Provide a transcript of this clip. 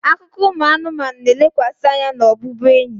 Akụkọ ụmụ anụmanụ na-elekwasị anya na ọbụbụenyi.